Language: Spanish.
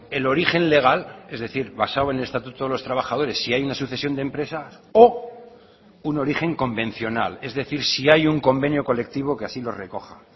el origen legal es decir basado en el estatuto de los trabajadores si hay una sucesión de empresas o un origen convencional es decir si hay un convenio colectivo que así lo recoja